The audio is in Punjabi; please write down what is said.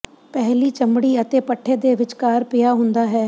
ਪਹਿਲੀ ਚਮੜੀ ਅਤੇ ਪੱਠੇ ਦੇ ਵਿਚਕਾਰ ਪਿਆ ਹੁੰਦਾ ਹੈ